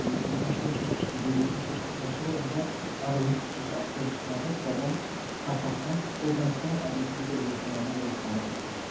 Yoxlanışdan keçdikdən, qeydiyyatdan keçdikdən sonra onlar ayrılmış xüsusi avtobuslarla buradan paytaxta, ordan isə aidiyyəti üzrə öz ölkələrinə yola salınacaqlar.